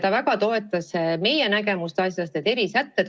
Ta väga toetas meie nägemust erisätete kohaldamisest.